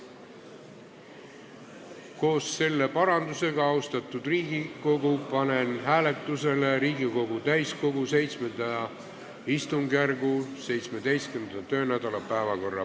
Koos selle parandusega, austatud Riigikogu, panen hääletusele Riigikogu täiskogu VII istungjärgu 17. töönädala päevakorra.